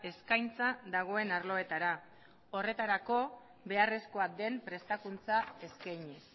eskaintza dagoen arloetara horretarako beharrezkoa den prestakuntza eskainiz